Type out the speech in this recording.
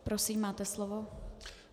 Prosím, máte slovo.